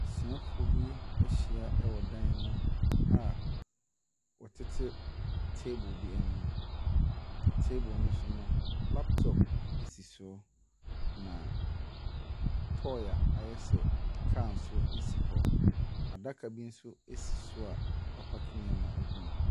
Asuafoɔ bi ahyia wɔ dan mu a wɔtete table bi anim. Table no so no, laptop si so na toe a ayɛ sɛ car si hɔ. Adaka bi nso si so a wɔpaake nneɛma agu mu.